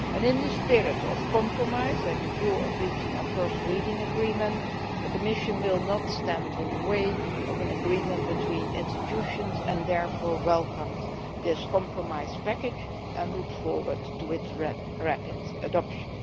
In a spirit of compromise, and with a view to reaching a first reading agreement, the Commission will not stand in the way of an agreement between institutions. It therefore welcomes this compromise package and looks forward to its rapid adoption.